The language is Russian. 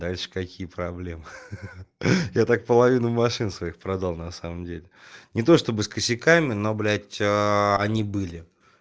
дальше какие проблемы ха-ха я так половину машины своих продал на самом деле не то чтобы с косяками но блять аа они были